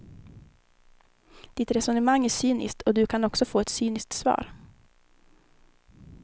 Ditt resonemang är cyniskt och du kan också få ett cyniskt svar.